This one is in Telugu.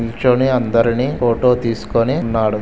నించొని అందర్నీ ఫోటో తీసుకొని ఉన్నాడు.